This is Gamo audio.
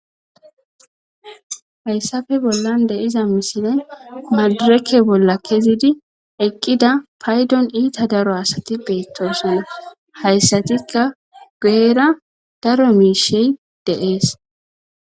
hayssafe bollande iza misine madureke bolla kezidi eqqida paydon iita daro asati beettosinna hayssatikka geera daro miishey deees